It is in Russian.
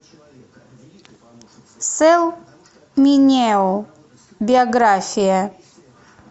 сэл минео биография